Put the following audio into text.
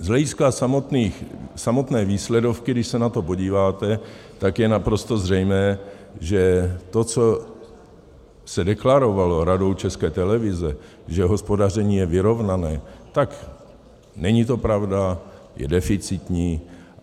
Z hlediska samotné výsledovky, když se na to podíváte, tak je naprosto zřejmé, že to, co se deklarovalo Radou České televize, že hospodaření je vyrovnané, tak není to pravda, je deficitní.